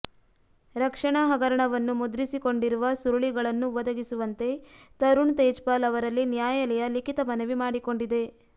ರಕ್ಷಣಾ ಹಗರಣವನ್ನು ಮುದ್ರಿಸಿಕೊಂಡಿರುವ ಸುರುಳಿಗಳನ್ನು ಒದಗಿಸುವಂತೆ ತರುಣ್ ತೇಜ್ಪಾಲ್ ಅವರಲ್ಲಿ ನ್ಯಾಯಾಲಯ ಲಿಖಿತ ಮನವಿ ಮಾಡಿಕೊಂಡಿದೆ